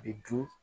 Bi dun